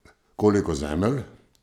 Koliko Zemelj?